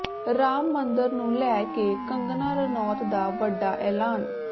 ਰਾਮ ਮੰਦਰ ਨੂੰ ਲੈ ਕੇ ਕੰਗਨਾ ਰਣੌਤ ਦਾ ਵੱਡਾ ਐਲਾਨ